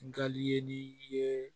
Nkali ye nin ye